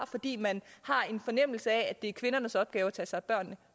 fordi man har en fornemmelse af at det er kvindernes opgave at tage sig af børnene